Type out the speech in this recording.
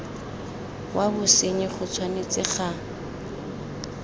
wa bosenyi go tshwanetse ga